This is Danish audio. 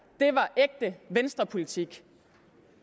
det venstrepolitik